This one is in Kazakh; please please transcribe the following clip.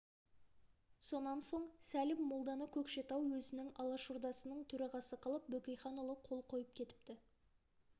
сонан соң сәлім молданы көкшетау өзінің алашордасының төрағасы қылып бөкейханұлы қол қойып кетіпті